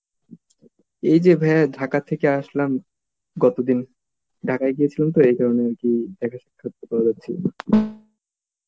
এই যে via Dhaka থেকে আসলাম, গতদিন, Dhaka এ গেছিলাম তো এই কারণ এ আরকি দেখা সাক্ষাৎ করা যাচ্ছিল না